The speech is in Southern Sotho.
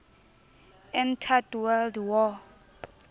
entered world war